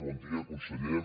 bon dia conseller